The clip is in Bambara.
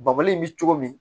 Babali in bɛ cogo min